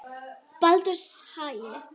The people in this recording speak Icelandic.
Baldurshagi